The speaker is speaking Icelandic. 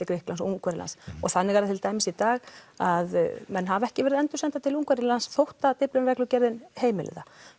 Grikklands Ungverjalands og þannig er það til dæmis í dag að menn hafa ekki verið að endursenda til Ungverjalands þótt að Dyflinnarreglugerðin heimili það